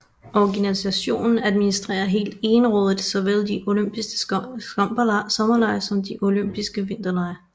Organisationen administrerer helt egenrådigt såvel de olympiske sommerlege som de olympiske vinterlege